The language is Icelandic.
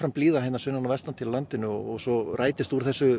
blíða hér sunnan og vesturlands og svo rætist úr þessu